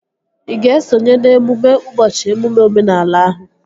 Ị ga-esonye n'emume ụbọchị emume omenala ahụ?